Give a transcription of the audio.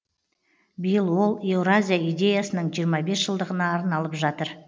биыл ол еуразия идеясының жиырма бес жылдығына арналып жатыр